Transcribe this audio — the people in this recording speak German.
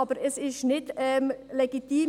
Aber hier ist es nicht legitim.